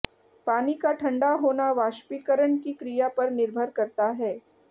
पानी का ठंडा होना वाष्पीकरण की क्रिया पर निर्भर करता है